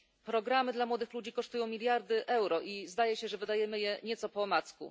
Programy dla młodych ludzi kosztują miliardy euro i zdaje się, że wydajemy je nieco po omacku.